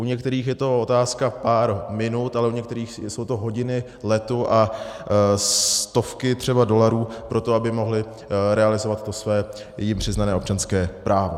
U některých je to otázka pár minut, ale u některých jsou to hodiny letu a stovky třeba dolarů pro to, aby mohli realizovat to své jim přiznané občanské právo.